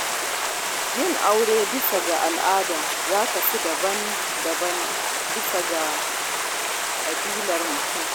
Yin aure bisa al'ada ya kasu daban-daban bisa ga ƙabilar mutum.